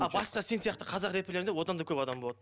а басқа сен сияқты қазақ рэперлерінде одан да көп адам болады